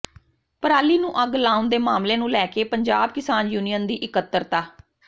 ਪਰਾਲੀ ਨੂੰ ਅੱਗ ਲਾਉਣ ਦੇ ਮਾਮਲੇ ਨੂੰ ਲੈ ਕੇ ਪੰਜਾਬ ਕਿਸਾਨ ਯੂਨੀਅਨ ਦੀ ਇਕੱਤਰਤਾ